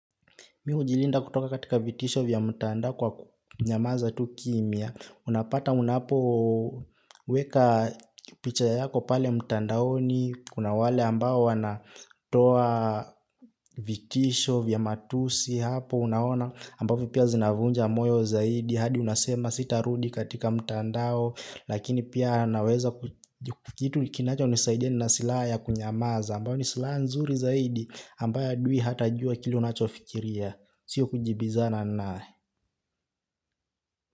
Mimi hujilinda kutoka katika vitisho vya mtandao kwa kunyamaza tu kimya. Unapata unapoweka picha yako pale mtandao ni kuna wale ambao wanatoa vitisho vya matusi hapo. Unaona ambavo pia zinavunja moyo zaidi hadi unasema sitarudi katika mtandao lakini pia naweza kitu kinachonisaidia nina silaha ya kunyamaza ambayo ni silaha nzuri zaidi ambayo adui hatajua kile unachofikiria. Siyo kujibizana naye.